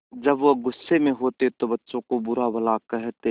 जब वह गुस्से में होते तो बच्चों को बुरा भला कहते